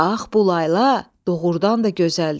Bax, bu layla doğurdan da gözəldir.